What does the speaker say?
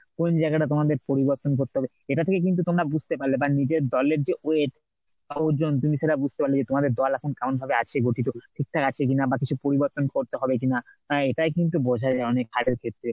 কোন জায়গাটা তোমাদের পরিবর্তন করতে হবে এটা থেকেই কিন্তু তোমরা বুঝতে পারলে বা নিজের দলের যে weight বা ওজন তুমি সেটা বুঝতে পারলে যে তোমাদের দল এখন কেমন ভাবে আছে গতিতে, ঠিকঠাক আছে কিনা বা কিছু পরিবর্তন করতে হবে কিনা হ্যাঁ এটাই কিন্তু বোঝায় অনেক হারের ক্ষেত্রে।